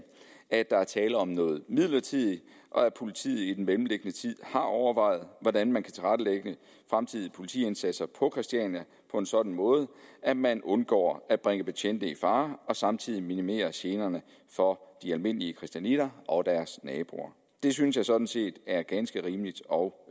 at der er tale om noget midlertidigt og at politiet i den mellemliggende tid har overvejet hvordan man kan tilrettelægge fremtidige politiindsatser på christiania på en sådan måde at man undgår at bringe betjente i fare og samtidig minimerer generne for de almindelige christianitter og deres naboer det synes jeg sådan set er ganske rimeligt og